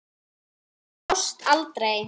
Það brást aldrei.